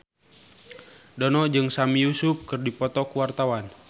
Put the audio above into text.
Dono jeung Sami Yusuf keur dipoto ku wartawan